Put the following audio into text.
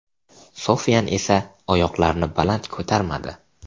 Sofian esa oyoqlarini baland ko‘tarmadi.